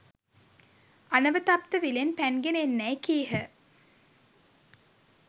අනවතප්ත විලෙන් පැන්ගෙන එන්නැයි කීහ.